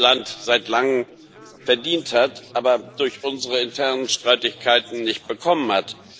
Land seit langem verdient hat, aber durch unsere internen Streitigkeiten nicht bekommen hat.